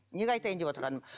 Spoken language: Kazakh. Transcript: неге айтайын деп отырғаным